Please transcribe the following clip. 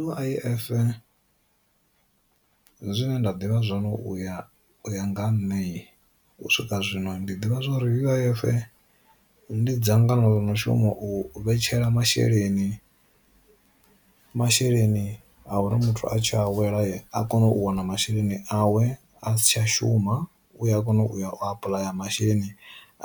U_I_F zwine nda ḓivha zwone uya nga ha nṋeyi, u swika zwino ndi ḓivha zwori U_I_F ndi dzangano ḽo no shuma u vhetshela masheleni, masheleni a uri muthu a tshi awela a kone u wana masheleni awe a si tsha shuma u a kona u apuḽaya masheleni